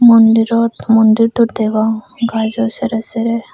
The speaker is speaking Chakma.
mondirot mondir to degong gaaso seyrei seyrei.